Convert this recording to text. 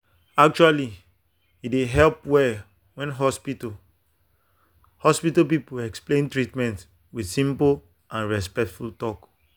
actually e dey help well when hospital hospital people explain treatment with simple and respectful talk.